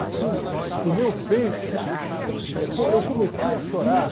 Assim, no meu peito, pô, eu comecei a chorar.